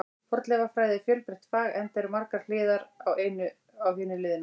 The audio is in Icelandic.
Fornleifafræði er fjölbreytt fag, enda eru margar hliðar á hinu liðna.